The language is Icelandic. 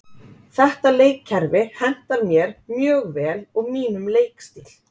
Þetta leikkerfi hentar mér mjög vel og mínum leikstíl.